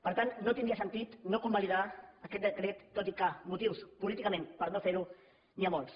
per tant no tindria sentit no convalidar aquest decret tot i que motius políticament per no fer ho n’hi ha molts